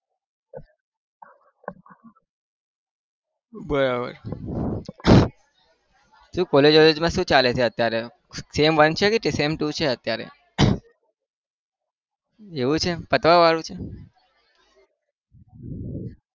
બરાબર શું college માં શું ચાલે છે અત્યારે sem one છે કે sem two છે અત્યારે એવું છે પતવા વાળું છે.